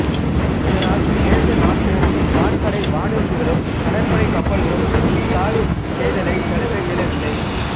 இதனால் நேச நாட்டு வான்படை வானூர்திகளும் கடற்படைக் கப்பல்களும் இக்காலி செய்தலைத் தடுக்க இயலவில்லை